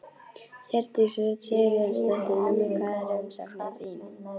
Hjördís Rut Sigurjónsdóttir: Númer hvað er umsóknin þín?